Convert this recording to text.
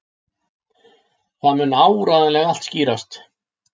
Það mun áreiðanlega allt skýrast.